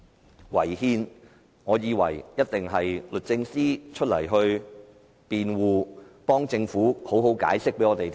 說到違憲，我以為一定會由律政司司長進行辯護，為政府作出詳細解釋。